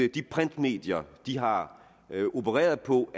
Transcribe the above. at de printmedier de har opereret på